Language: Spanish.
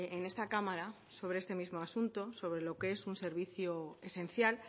en esta cámara sobre este mismo asunto sobre lo que es un servicio esencial